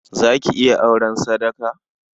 Za ki iya auren sadaka?